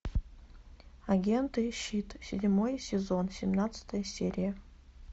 агенты щит седьмой сезон семнадцатая серия